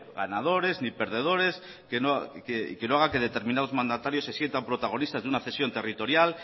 ganadores ni perdedores y que no haga que determinados mandatarios se sientan protagonistas de una cesión territorial